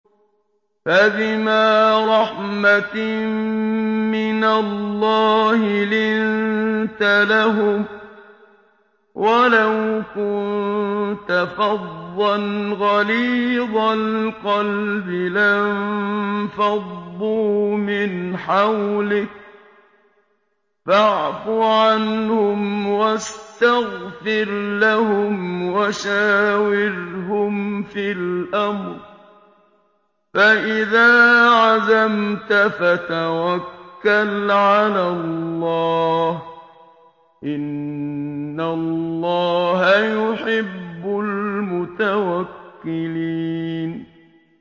فَبِمَا رَحْمَةٍ مِّنَ اللَّهِ لِنتَ لَهُمْ ۖ وَلَوْ كُنتَ فَظًّا غَلِيظَ الْقَلْبِ لَانفَضُّوا مِنْ حَوْلِكَ ۖ فَاعْفُ عَنْهُمْ وَاسْتَغْفِرْ لَهُمْ وَشَاوِرْهُمْ فِي الْأَمْرِ ۖ فَإِذَا عَزَمْتَ فَتَوَكَّلْ عَلَى اللَّهِ ۚ إِنَّ اللَّهَ يُحِبُّ الْمُتَوَكِّلِينَ